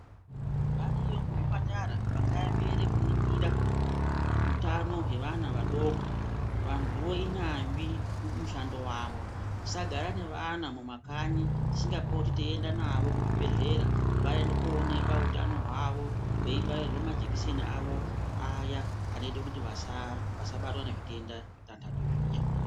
Variyo muzvipatara vakaemera kuningira utano hwevana vadoko, vantuvo inyazvi mumushando mwavo. Tisagara nevana mumakanyi tisingapoti teienda navo kuzvibhehlera kuti vaende koonekwa utano hwavo veibairwa majekiseni avo aya anoita kuti vasabatwa nezvitenda zvavo zviya zvitanhatu.